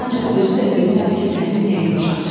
Ancaq özü də bilmədi ki, səsi niyə yumşaq çıxdı.